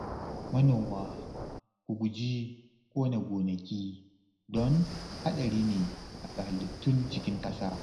Manoma, ku guji ƙona gonaki don haɗari ne ga halittun cikin ƙasa